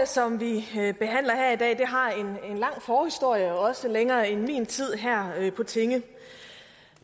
som vi behandler her i dag har en lang forhistorie også længere end min tid her på tinge